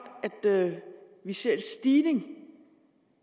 at vi ser en stigning